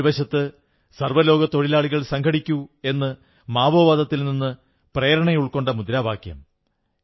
ഒരു വശത്ത് സർവ്വലോക തൊഴിലാളികൾ സംഘടിക്കൂ എന്ന് മാവോവാദത്തിൽ നിന്നു പ്രേരണയുൾക്കൊണ്ട മുദ്രാവാക്യം